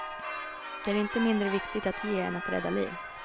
Det är inte mindre viktigt att ge än att rädda liv.